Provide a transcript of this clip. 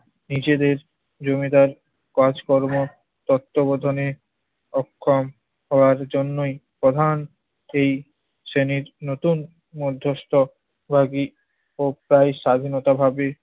নিজেদের জমিদার কাজকর্ম তত্ত্বাবধানে অক্ষম হওয়ার জন্যই প্রধান এই শ্রেণির নতুন মধ্যস্থ ভাগি ও প্রায় স্বাধীনতাভাবে